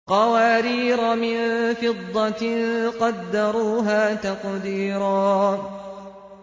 قَوَارِيرَ مِن فِضَّةٍ قَدَّرُوهَا تَقْدِيرًا